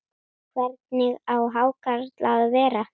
Hvernig á hákarl að vera?